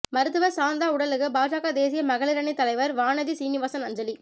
மருத்துவர் சாந்தா உடலுக்கு பாஜக தேசிய மகளிரணி தலைவர் வானதி சீனிவாசன் அஞ்சலி